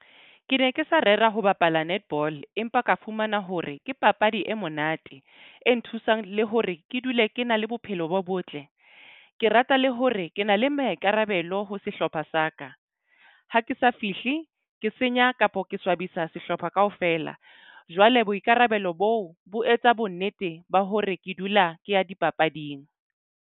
Ke ne ke sa rera ho bapala netball empa ka fumana hore ke papadi e monate. E nthusang le hore ke dule ke na le bophelo bo botle. Ke rata le hore ke na le maikarabelo ho sehlopha sa ka. Ha ke sa fihle ke senya kapo ke swabisa sehlopha kaofela. Jwale boikarabelo boo bo etsa bonnete ba hore ke dula ke ya dipapading.